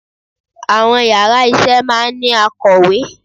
Àwọn yàrá isé máa ní akọ̀wé